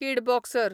कीड बॉक्सर